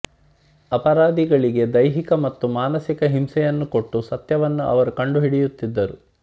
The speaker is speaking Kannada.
ಅಪರಾಧಿಗಳಿಗೆ ದೈಹಿಕ ಮತ್ತು ಮಾನಸಿಕ ಹಿಂಸೆಯನ್ನು ಕೊಟ್ಟು ಸತ್ಯವನ್ನು ಅವರು ಕಂಡುಹಿಡಿಯುತ್ತಿದ್ದರು